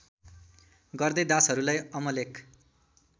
गर्दै दासहरूलाई अमलेख